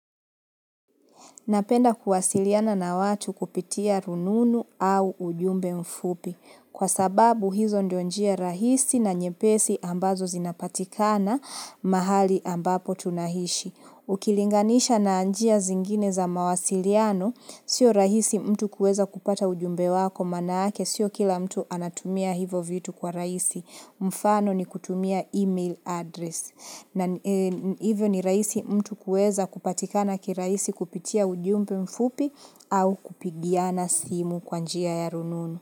Napenda kuwasiliana na watu kupitia rununu au ujumbe mfupi, kwa sababu hizo ndo njia rahisi na nyepesi ambazo zinapatikana mahali ambapo tunahishi. Ukilinganisha na njia zingine za mawasiliano, sio rahisi mtu kuweza kupata ujumbe wako maanake, sio kila mtu anatumia hivo vitu kwa rahisi. Mfano ni kutumia email address na hivyo ni rahisi mtu kuweza kupatika na kiraisi kupitia ujumbe mfupi au kupigiana simu kwa njia ya rununu.